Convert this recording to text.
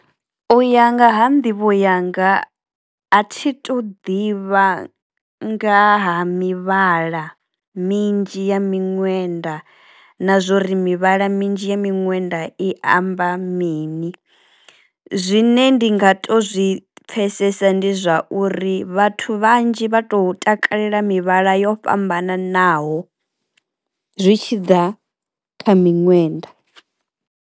U ya nga ha nḓivho yanga a thi to ḓivha nga ha mivhala minzhi ya miṅwenda na zwori mivhala minzhi ya miṅwenda i amba mini, zwine ndi nga to zwi pfesesa ndi zwauri vhathu vhanzhi vha to takalela mivhala yo fhambananaho zwi tshi ḓa kha miṅwenda.